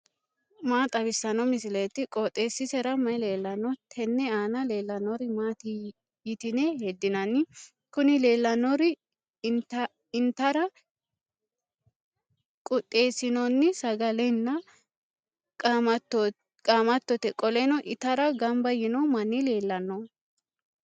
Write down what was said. maa xawissanno misileeti? qooxeessisera may leellanno? tenne aana leellannori maati yitine heddinanni? kuni leellannori intara quxxeessinoonni sagalenna qaamattote, qoleno itara gamba yiino manni leellanno.